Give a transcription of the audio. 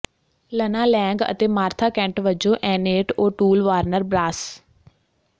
Lana Lang ਅਤੇ Martha Kent ਵਜੋਂ Annette O'Toole Warner brass